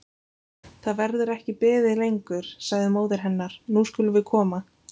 Það verður ekki beðið lengur, sagði móðir hennar, nú skulum við koma.